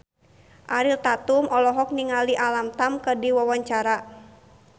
Ariel Tatum olohok ningali Alam Tam keur diwawancara